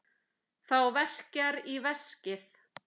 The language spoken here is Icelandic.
Þá verkjar í veskið.